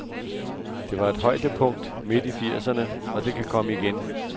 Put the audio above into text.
Der var et højdepunkt midt i firserne, og det kan komme igen.